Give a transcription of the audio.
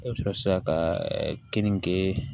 E bɛ sɔrɔ sisan ka keninge